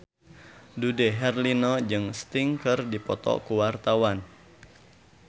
Dude Herlino jeung Sting keur dipoto ku wartawan